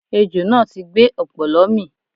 Ejò náà ti gbé ọ̀pọ̀lọ́ mì